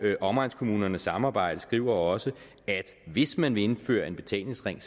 omegnskommunernes samarbejde skriver også at hvis man vil indføre en betalingsring